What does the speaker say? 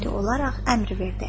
Qəti olaraq əmr verdi.